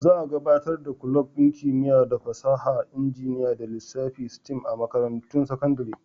Za a gabatar da kulob ɗin Kimiyya, Fasaha, Injiniya da Lissafi (STEM) a makarantun sakandare.